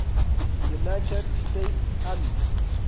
united states army